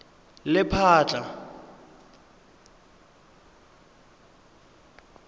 lephatla